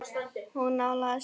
Hún nálgast mig.